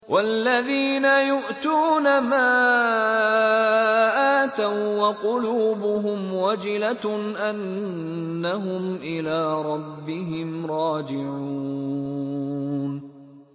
وَالَّذِينَ يُؤْتُونَ مَا آتَوا وَّقُلُوبُهُمْ وَجِلَةٌ أَنَّهُمْ إِلَىٰ رَبِّهِمْ رَاجِعُونَ